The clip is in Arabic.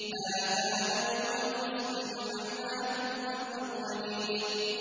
هَٰذَا يَوْمُ الْفَصْلِ ۖ جَمَعْنَاكُمْ وَالْأَوَّلِينَ